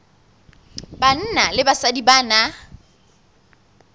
banna le basadi ba na